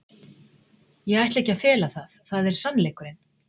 Ég ætla ekki að fela það, það er sannleikurinn.